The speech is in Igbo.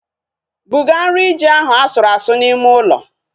Buga nri ji ahu asụrụ asụ n'ime ụlọ